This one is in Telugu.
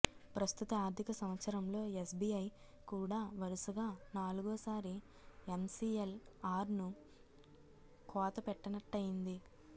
ప్రస్తుత ఆర్థిక సంవత్సరంలో ఎస్బీఐ కూడా వరుసగా నాలుగో సారి ఎంసీఎల్ఆర్ను కోత పెట్టినట్టయింది